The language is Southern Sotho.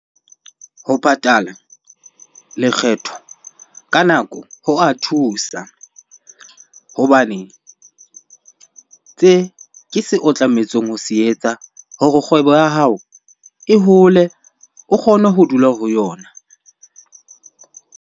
Ho patala lekgetho ka nako ho a thusa. Hobane tse ke se o tlametseng ho se etsa hore kgwebo ya hao e hole o kgone ho dula ho yona.